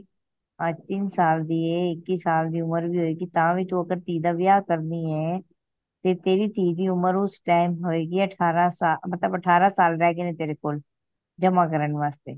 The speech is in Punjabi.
ਅੱਜ ਤਿੰਨ ਸਾਲ ਦੀ ਆਏ ਇੱਕੀ ਸਾਲ ਦੀ ਉਮਰ ਵੀ ਹੋਏਗੀ ਤਾਂਵੀ ਤੂੰ ਆਪਣੀ ਧੀ ਦਾ ਵਿਆਹ ਕਰਨੀ ਐ ਤੇ ਤੇਰੀ ਧੀ ਦੀ ਉਮਰ ਉਸ time ਹੋਏਗੀ ਅਠਾਰਹ ਸਾਲ ਮਤਲਬ ਅਠਾਰਹ ਸਾਲ ਰਹਿ ਗਏ ਨੇ ਤੇਰੇ ਕੋਲ ਜਮਾ ਕਰਨ ਵਾਸਤੇ